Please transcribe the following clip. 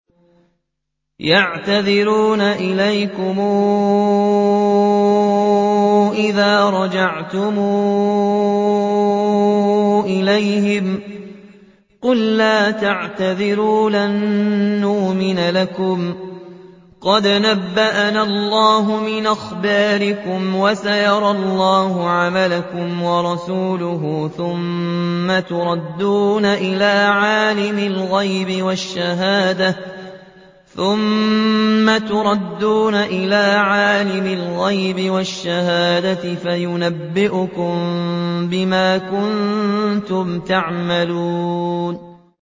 يَعْتَذِرُونَ إِلَيْكُمْ إِذَا رَجَعْتُمْ إِلَيْهِمْ ۚ قُل لَّا تَعْتَذِرُوا لَن نُّؤْمِنَ لَكُمْ قَدْ نَبَّأَنَا اللَّهُ مِنْ أَخْبَارِكُمْ ۚ وَسَيَرَى اللَّهُ عَمَلَكُمْ وَرَسُولُهُ ثُمَّ تُرَدُّونَ إِلَىٰ عَالِمِ الْغَيْبِ وَالشَّهَادَةِ فَيُنَبِّئُكُم بِمَا كُنتُمْ تَعْمَلُونَ